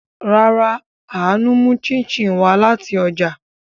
Rárá, Aanu mu chin chin wa lati oja